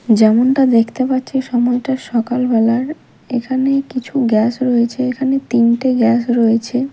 যেমনটা দেখতে পাচ্ছি সময়টা সকাল বেলার এখানে কিছু গ্যাস রয়েছে এখানে তিনটে গ্যাস রয়েছে।